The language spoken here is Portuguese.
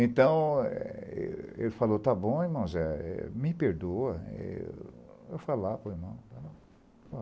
Então, é ê ele falou, está bom, irmão Zé, me perdoa, eu vou falar para o irmão.